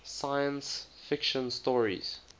science fiction stories